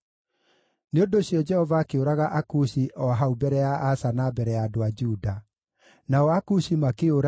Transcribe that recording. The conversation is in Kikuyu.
Nĩ ũndũ ũcio Jehova akĩũraga Akushi o hau mbere ya Asa na mbere ya andũ a Juda. Nao Akushi makĩũra,